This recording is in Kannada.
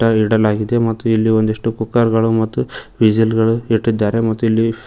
ಇಡಲಾಗಿದೆ ಮತ್ತು ಇಲ್ಲಿ ಒಂದಿಷ್ಟು ಕುಕ್ಕರ್ ಗಳು ಮತ್ತು ವಿಶೆಲ್ ಗಳು ಇಟ್ಟಿದ್ದಾರೆ ಮತ್ತು ಇಲ್ಲಿ--